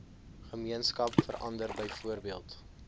gemeenskap verander byvoorbeeld